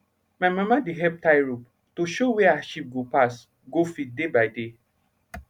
my mama dey help tie rope to show where her sheep go pass go feed day by day